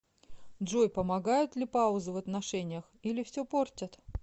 джой помогают ли паузы в отношениях или все портят